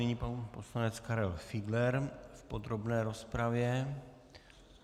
Nyní pan poslanec Karel Fiedler v podrobné rozpravě.